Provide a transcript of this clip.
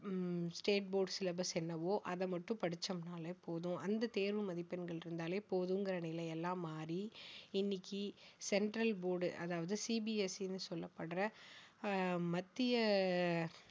ஹம் state board syllabus என்னவோ அதை மட்டும் படிச்சோம்னாலே போதும் அந்த தேர்வு மதிப்பெண்கள் இருந்தாலே போதும்ங்கிற நிலை எல்லாம் மாறி இன்னைக்கு central board அதாவது CBSE னு சொல்லப்படுகிற ஆஹ் மத்திய அஹ்